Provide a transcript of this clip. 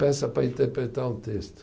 Peça para interpretar um texto.